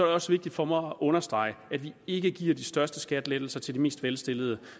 også vigtigt for mig at understrege at vi ikke giver de største skattelettelser til de mest velstillede